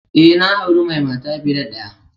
E, na aure mai mata fiye da ɗaya.